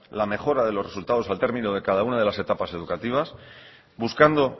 la mejora de los resultados al término de cada una de las etapas educativas buscando